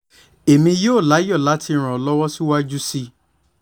èmi yóò láyọ̀ láti ràn ọ́ lọ́wọ́ síwájú sí i